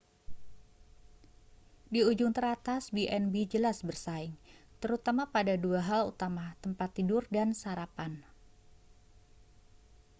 di ujung teratas b&b jelas bersaing terutama pada dua hal utama tempat tidur dan sarapan